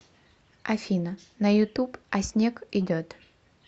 афина на ютуб а снег идет